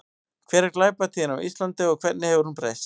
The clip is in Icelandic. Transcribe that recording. Hver er glæpatíðni á Íslandi og hvernig hefur hún breyst?